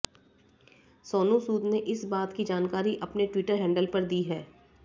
सोनू सूद ने इस बात की जानकारी अपने ट्विटर हैंडल पर दी है